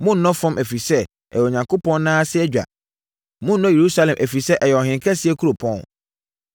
Monnnɔ fam, ɛfiri sɛ, ɛyɛ Onyankopɔn nan ase adwa. Monnnɔ Yerusalem, ɛfiri sɛ, ɛyɛ ɔhenkɛseɛ kuropɔn.